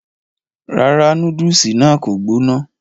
rárá, núdùsì náà kò gbóná